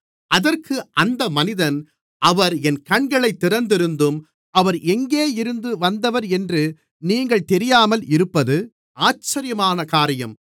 அதற்கு அந்த மனிதன் அவர் என் கண்களைத் திறந்திருந்தும் அவர் எங்கிருந்து வந்தவர் என்று நீங்கள் தெரியாமல் இருப்பது ஆச்சரியமான காரியம்